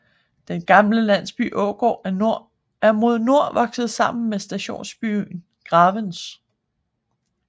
Den gamle landsby Ågård er mod nord vokset sammen med stationsbyen Gravens